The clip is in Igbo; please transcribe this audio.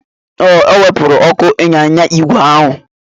Ee, o wepụrụ ọkụ ịnyịnya ígwè ahụ.